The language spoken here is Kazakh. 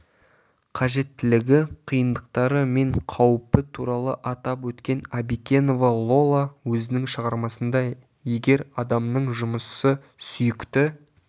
қажеттілігі қиындықтары мен қауіпі туралы атап өткен абикенова лола өзінің шығармасында егер адамның жұмысы сүйікті